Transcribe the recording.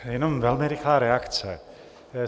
Jenom velmi rychlá reakce.